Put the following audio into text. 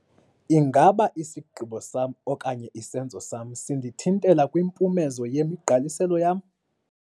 Ingaba isigqibo sam okanye isenzo sam sindithintela kwimpumezo yemigqaliselo yam?